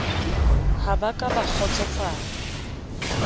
ha ba ka ba kgotsofala